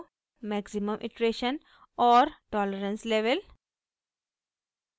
maximum iteration और tolerance level